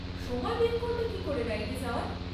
সময় বের করবে কী করে রাইডে যাওয়ার?